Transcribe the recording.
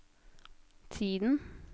tiden